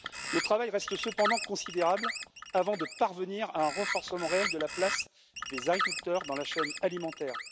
Le travail reste cependant considérable avant de parvenir à un renforcement réel de la place des agriculteurs dans la chaîne alimentaire.